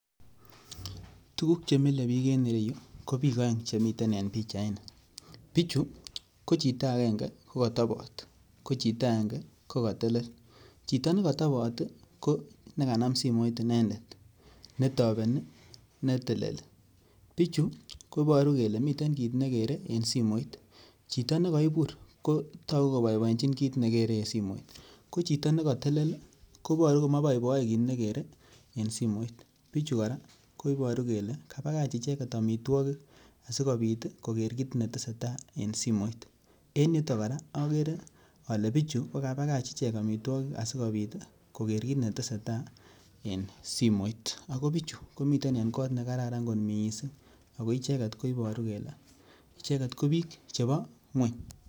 Tuguk che mile bik en ireyu ko bik oeng che miten en pichaini, pichu ko chito angenge ko kotobot ko chito aenge kogotelel, chito nekotobot ko nekanam simoit inendet netobenii netelelii. Pichu koboruu kelee miten kit negere en simoit, chito negoibur ko toguu koboiboiechin kit negere en simoit ko chito negotelel koboru komoboiboee kit negere en simoit, pichu koraa koboru kolee kabach ichek omitwokik asikopit koger kit netesetai en simoit ago pichu komiten en kot nekararan kot missing ako icheket koiboru kele icheget ko bik chebo ngweny